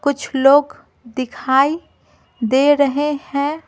कुछ लोग दिखाई दे रहे हैं।